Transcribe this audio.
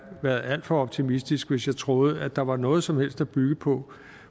været alt for optimistisk hvis jeg troede at der var noget som helst at bygge på